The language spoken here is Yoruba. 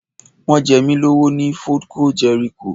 Wọ́n jẹ mí lówó ní Foodco Jẹ́ríkò